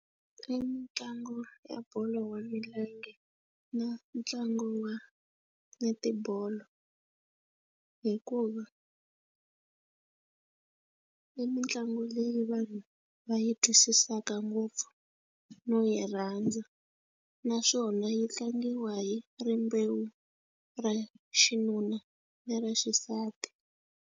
I mitlangu ya bolo ya milenge na ntlangu wa netibolo hikuva i mitlangu leyi vanhu va yi twisisaka ngopfu no yi rhandza naswona yi tlangiwa hi rimbewu ra xinuna na ra xisati.